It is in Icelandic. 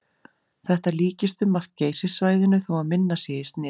Þetta líkist um margt Geysissvæðinu þó að minna sé í sniðum.